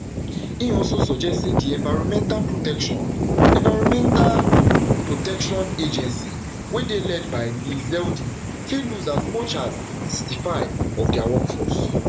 im also suggest say di environmental protection environmental protection agency wey dey led by lee zeldin fit lose as much as sixty-five of dia workforce